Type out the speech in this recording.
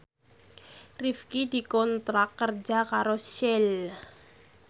Rifqi dikontrak kerja karo Shell